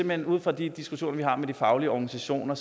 men ud fra de diskussioner vi har med de faglige organisationer